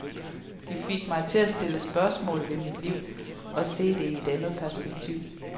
De fik mig til at stille spørgsmål ved mit liv og se det i et andet perspektiv.